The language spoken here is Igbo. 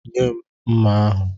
Nye m mma ahụ!